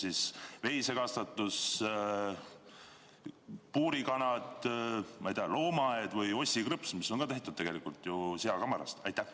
On see veisekasvatus, puurikanad, loomaaed või Ossi krõpsud, mis on tehtud ju seakamarast?